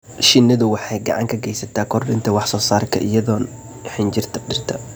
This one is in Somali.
Shinnidu waxay gacan ka geysataa kordhinta wax-soo-saarka iyadoo xinjirta dhirta.